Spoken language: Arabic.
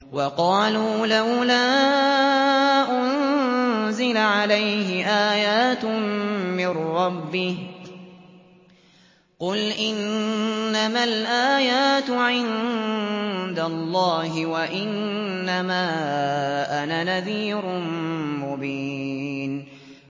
وَقَالُوا لَوْلَا أُنزِلَ عَلَيْهِ آيَاتٌ مِّن رَّبِّهِ ۖ قُلْ إِنَّمَا الْآيَاتُ عِندَ اللَّهِ وَإِنَّمَا أَنَا نَذِيرٌ مُّبِينٌ